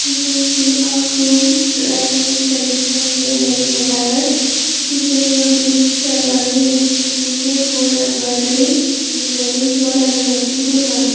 we can see a groom dressed in traditional indian wedding attire featuring a beige sherwani with intricate gold embroidery a maroon shawl and a matching toorban .